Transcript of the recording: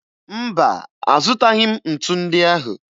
Mba, azụtaghị m ntu ndị ahụ